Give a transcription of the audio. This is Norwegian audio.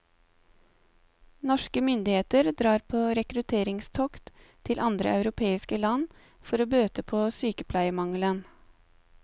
Norske myndigheter drar på rekrutteringstokt til andre europeiske land for å bøte på sykepleiermangelen.